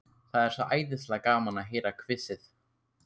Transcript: Það er svo æðislega gaman að heyra hvissið.